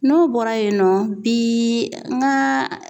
N'o bɔra yen nɔ bi n ka